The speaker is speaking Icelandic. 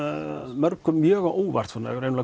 mörgum mjög á óvart